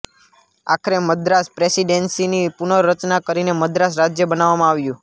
આખરે મદ્રાસ પ્રેસિડેન્સીની પુર્નરચના કરીને મદ્રાસ રાજ્ય બનાવવામાં આવ્યું